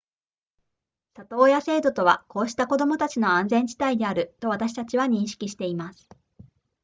里親制度とはこうした子供たちの安全地帯であると私たちは認識しています